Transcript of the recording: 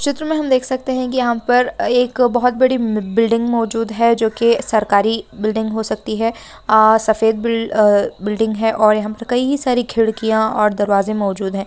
चित्र में हम देख सकते है की यहाँ पर एक बहुत बड़ी बिल्डिंग मोजूद है जो की सरकारी बिल्डिंग हो सकती है आ सफेद बिल- बिल्डिंग है यहाँ पर कई सारी खिड़कियाँ और दरवाजे मोजूद है।